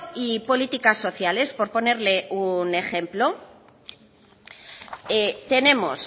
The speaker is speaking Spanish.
y políticas sociales por ponerle un ejemplo tenemos